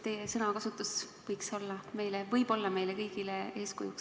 Teie sõnakasutus võib olla meile kõigile eeskujuks.